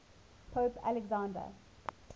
pope alexander